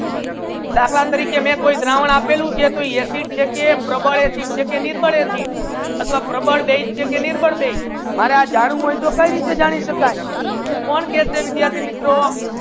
દખલા તારીકે માઇ કોઈ દ્રવણ આપેલુ છે તો acid છે કે પ્રબળ acid છે કે નિર્બળ acid અથવા પ્રબળ બેઝ છે કે નિર્બળ બેઝ છે મારા જાનવુ હોય તો કેવી રીતે જાની સકાય કોન કહેસે વિદ્યાર્થિ મિત્રો